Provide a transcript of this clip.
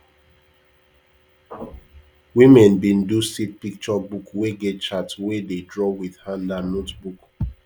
women bin do seed picture book wey get chart wey dey draw with hand and notebook